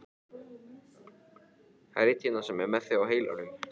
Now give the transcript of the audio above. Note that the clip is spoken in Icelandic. Það er einn hérna sem er með þig á heilanum.